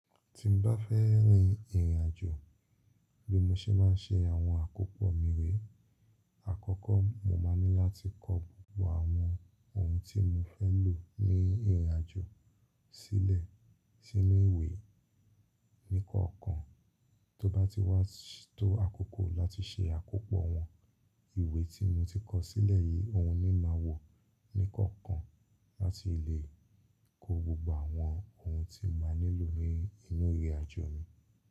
Tí n bá fẹ́ rìn ìrìnàjò bí mo ṣe máa ń ṣe àwọn àkópọ̀ mi re. Àkọ́kọ́ mo máa ní láti kọ gbogbo àwọn ohun tí mo fẹ́ lò ní ìrìnàjò sílẹ̀ sínú ìwé nìkọ̀ọ̀kan, tó bá ti wá tó àkókò láti ṣe àkópọ̀ wọn, ìwé tí mo ti kọ sílẹ̀ yìí òun ni máa wò nìkọ̀ọ̀kan láti lè kó gbogbo àwọn ohun tí mo máa nílò nínú ìrìnàjò mi.